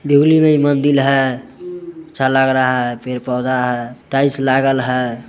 मंदिर है अच्छा लग रहा है पेड़ पौधा है टाइलस लागल है।